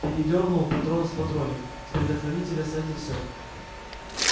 передёрнул патрон в патронник с предохранителя снять и всё